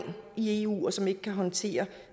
i eu og som ikke kan håndtere